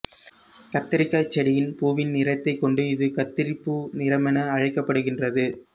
கத்தரிக்காய்ச் செடியின் பூவின் நிறத்தைக் கொண்டு இது கத்தரிப்பூ நிறமென அழைக்கப்படுகின்றது